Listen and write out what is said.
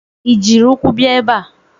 Ị jiri ụkwụ bia ebe a?